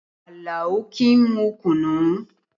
Àlàó kì í mu kùnnú